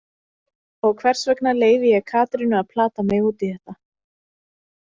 Og hvers vegna leyfi ég Katrínu að plata mig út í þetta?